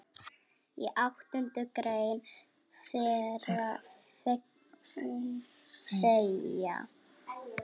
Í áttundu grein þeirra segir